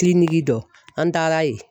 dɔ an taara yen.